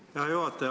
Hea juhataja!